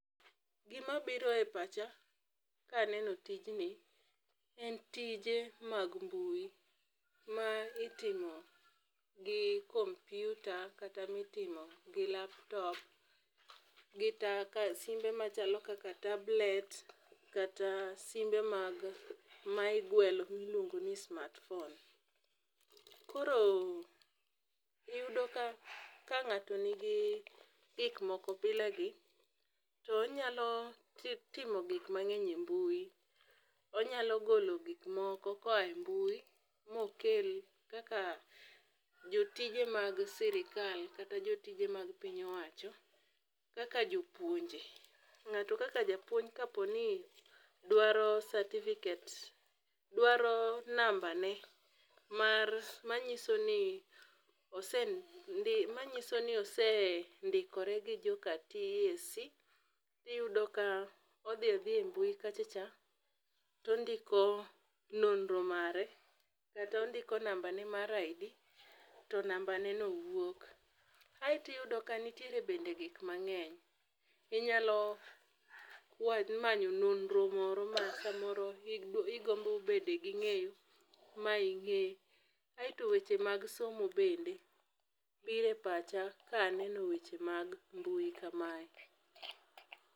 Gima biro e pacha ka neno tijni en tije mag mbui ma itimo gi komputa kata mitimo gi laptop gi taka simbe machalo kaka tablet kata simbe mag ma igwelo miluongo ni smartphone. Koro iyudo ka ka ng'ato nigi gik moko bila gi to onyalo ti timo gik mang'eny e mbui , onyalo golo gik moko koa e mbui mokel kaka jotije mag sirikal kata jotije mag piny owacho kaka jopuonje . Ng'ato kaka japuonj kaponi dwaro certificate dwaro namba ne mar manyiso ni osendik manyiso ni osendikore gi joka TSC iyudo ka odhi adhiya e mbui kacha cha tondiko nonro mare kata ondike namba ne mar ID to namba ne no wuok aeti yudo ka ntiere bende gik mang'eny , inyalo wa manyo nonro moro ma samoro igombo bede ging'eyo ma ing'e aeto weche mag somo bende bire pacha ka aneno weche mag mbui kamae.